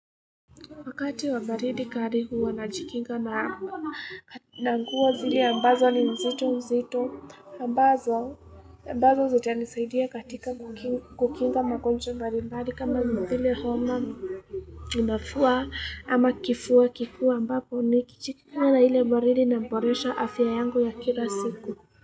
Wakati wa baridi kali huwa na jikinga na nanguo zile ambazo ni mzito mzito ambazo zita nisaidia katika kukinga magonjwa mbarimbari kama vile homa Unafua ama kifua kikuu a ambapo ni kichikinga na ile baridi naboresha afya yangu ya kila siku.